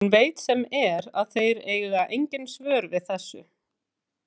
Hún veit sem er að þeir eiga engin svör við þessu.